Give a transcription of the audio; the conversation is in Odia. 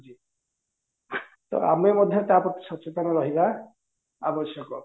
ଆମେ ମଧ୍ୟ ତା ପ୍ରତି ସଚେତନ ରହିବା ଆବଶ୍ୟକ